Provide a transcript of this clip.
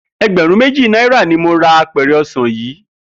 E̩gbè̩rún méjì náírà ni mo ra apè̩rè̩ o̩sà̩n yìí